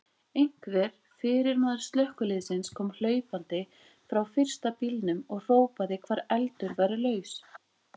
Einhver fyrirmaður slökkviliðsins kom hlaupandi frá fyrsta bílnum og hrópaði hvar eldur væri laus.